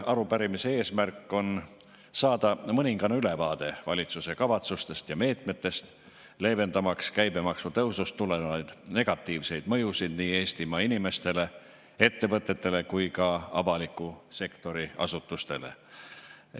Arupärimise eesmärk on saada mõningane ülevaade valitsuse kavatsustest ja meetmetest, leevendamaks käibemaksu tõusust tulenevaid negatiivseid mõjusid nii Eestimaa inimestele, ettevõtetele kui ka avaliku sektori asutustele.